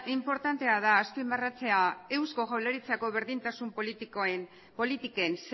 inportantea da azpimarratzea eusko jaurlaritzako berdintasun politiken